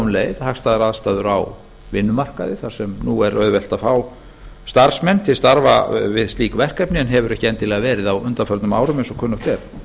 leið hagstæðar aðstæður á vinnumarkaði þar sem þar sem nú er auðvelt að fá starfsmenn til starfa við slík verkefni en hefur ekki endilega verið á undanförnum árum eins og kunnugt er